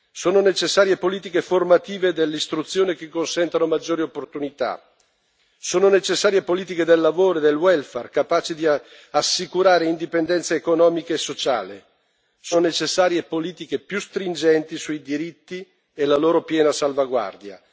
Sono necessarie politiche formative dell'istruzione che consentano maggiori opportunità, sono necessarie politiche del lavoro e del welfare capaci di assicurare indipendenza economica e sociale, sono necessarie politiche più stringenti sui diritti e la loro piena salvaguardia.